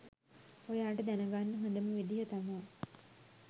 ඔයාට දැනගන්න හොඳම විදිහ තමා